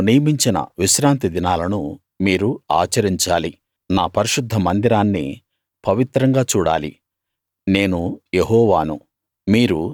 నేను నియమించిన విశ్రాంతి దినాలను మీరు ఆచరించాలి నా పరిశుద్ధ మందిరాన్ని పవిత్రంగా చూడాలి నేను యెహోవాను